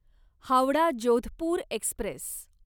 Howrah Jodhpur Express